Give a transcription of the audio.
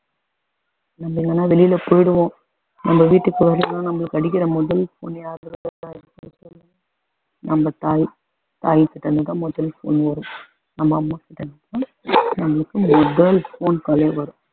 நம்ம எங்கன்னா வெளில போயிடுவோம் நம்ம வீட்டுக்கு வரலன்னா நமக்கு அடிக்கிற முதல் phone யாருடையதா நம்ம தாய் தாய் கிட்டருந்து தான் முதல் phone வரும் அம்மா மட்டும் தான் நமக்கு முதல் phone call லே வரும்